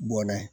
Bɔn n'a ye